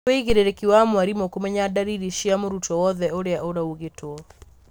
nĩ wũigĩrĩrĩki wa mwarimũ kũmenya ndariri cia mũrutwo owothe ũria ũraũgitwo.